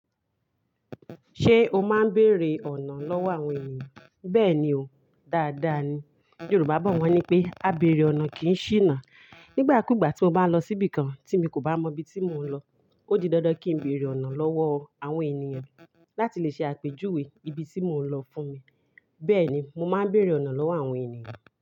Ṣé o máa ń bèèrè ọ̀nà lọ́wọ́ àwọn ènìyàn? Bẹ́ẹ̀ni o, dáadáa ni. Yorùbá bọ wá ní pé, "Á bèèrè ọ̀nà kì í ṣìnà." Nígbà kúgbà tí mo bá lọ síbi kan tí mi kò bá mọ ibi tí mò ń lọ, ó di dandan kí n bèèrè ọ̀nà lọ́wọ́ àwọn ènìyàn láti lè ṣe àpèjúwe ibi tí mò ń lọ fún mi. Bẹ́ẹ̀ ni, mo máa ń bèèrè ọ̀nà lọ́wọ́ àwọn ènìyàn.